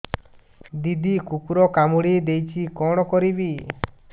ଦିଦି କୁକୁର କାମୁଡି ଦେଇଛି କଣ କରିବି